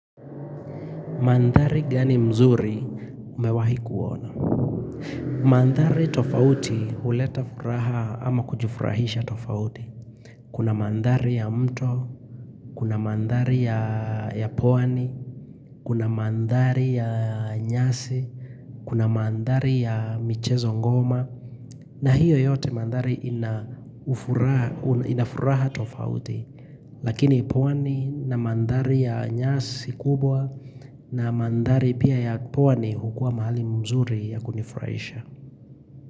Mandhari gani mzuri umewahi kuona. Mandhari tofauti huleta furaha ama kujifurahisha tofauti. Kuna mandhari ya mto, kuna mandhari ya pwani, kuna mandhari ya nyasi, kuna mandhari ya michezo ngoma. Na hiyo yote mandari inafuraha tofauti. Lakini pwani na mandhari ya nyasi kubwa na mandhari pia ya pwani hukua mahali mzuri ya kunifraisha.